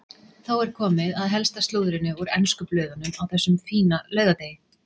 Þá er komið að helsta slúðrinu úr ensku blöðunum á þessum fína laugardegi.